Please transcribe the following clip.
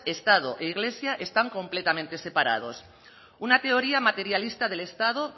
estado e iglesia están completamente separados una teoría materialista del estado